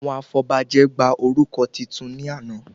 Àwọn afọbajẹ gba orúkọ titun ní àná